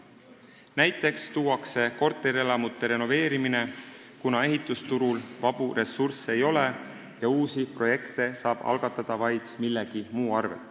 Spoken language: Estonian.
Näiteks tuuakse korterelamute renoveerimine, kuna ehitusturul vabu ressursse ei ole ja uusi projekte saab algatada vaid millegi muu arvel.